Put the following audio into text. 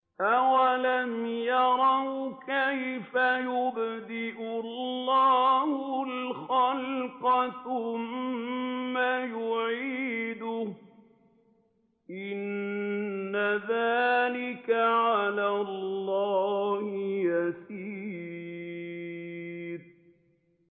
أَوَلَمْ يَرَوْا كَيْفَ يُبْدِئُ اللَّهُ الْخَلْقَ ثُمَّ يُعِيدُهُ ۚ إِنَّ ذَٰلِكَ عَلَى اللَّهِ يَسِيرٌ